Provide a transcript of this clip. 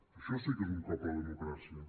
això sí que és un cop a la democràcia